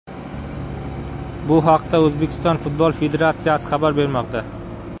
Bu haqda O‘zbekiston Futbol federatsiyasi xabar bermoqda .